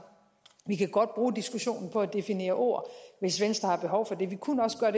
vi kan godt bruge diskussionen på at definere ord hvis venstre har behov for det vi kunne også gøre